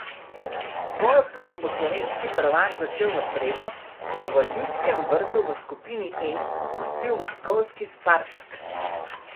Svojo pot bo slovenski prvak začel v sredo, ko bo v Ljudskem vrtu v skupini E gostil moskovski Spartak.